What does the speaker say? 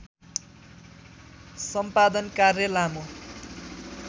सम्पादन कार्य लामो